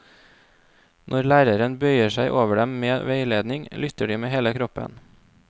Når læreren bøyer seg over dem med veiledning, lytter de med hele kroppen.